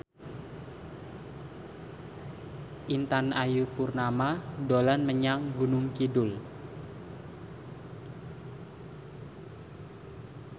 Intan Ayu Purnama dolan menyang Gunung Kidul